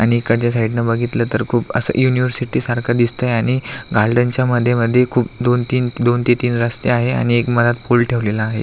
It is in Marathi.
आणि एकडच्या साइडन बघितल तर खूप अस यूनिवर्सिटी सारख दिसतय आणि गार्डनच्या मध्ये मध्ये खूप दोन तीन दोन ते तीन रस्ते आहे आणि एक मधात पूल ठेवलेला आहे.